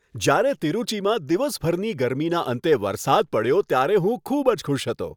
જ્યારે તિરુચીમાં દિવસભરની ગરમીનાં અંતે વરસાદ પડ્યો ત્યારે હું ખૂબ જ ખુશ હતો.